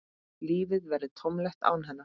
Lífið verður tómlegt án hennar.